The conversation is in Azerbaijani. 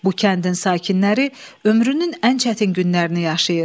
Bu kəndin sakinləri ömrünün ən çətin günlərini yaşayır.